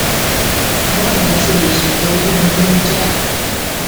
báwo ni a ṣe lè tọjú ìrùn tí ó ń já